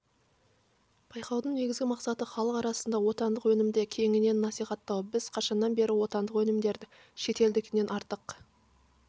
байқаудың негізгі мақсаты іалық арасында отандық өнімді кеңінен насихаттау біз қашаннан бері отандық өнімдердің шетелдікінен артық